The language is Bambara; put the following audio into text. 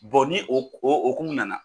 ni o o hokumu nana.